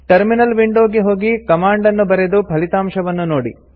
terminal window ಗೆ ಹೋಗಿ command ನ್ನು ಬರೆದು ಫಲಿತಾಂಶವನ್ನು ನೋಡಿ